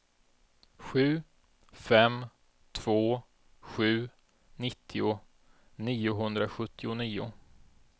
sju fem två sju nittio niohundrasjuttionio